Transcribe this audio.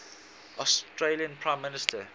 australian prime minister